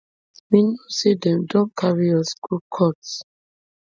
we know say dem don carry us go court